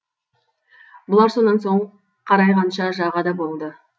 бұлар сонан соң қарайғанша жағада болды